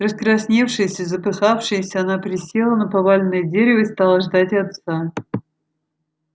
раскрасневшаяся запыхавшаяся она присела на поваленное дерево и стала ждать отца